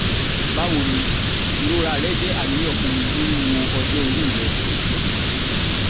bawoni irora re je aniyan fun mi ni wiwo ojo ori re